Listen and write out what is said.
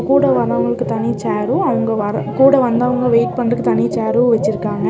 கூட வர்றவங்களுக்கு தனிச் சேரும் அவுங்க வர கூட வந்தவங்க வெயிட் பண்றதுக்கு தனி சேரு வெச்சிருக்காங்க.